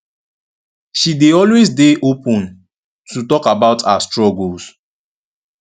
she dey always dey open to talk about her struggles